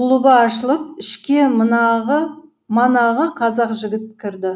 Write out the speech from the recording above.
құлыбы ашылып ішке манағы қазақ жігіт кірді